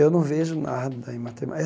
Eu não vejo nada em